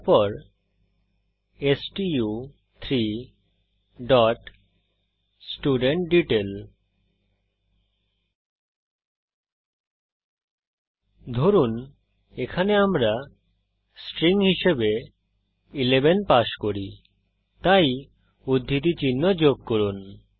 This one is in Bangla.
তারপর স্টু3 ডট স্টুডেন্টডিটেইল ধরুন এখানে আমরা স্ট্রিং হিসেবে 11 পাস করি তাই উদ্ধৃতি চিহ্ন যোগ করুন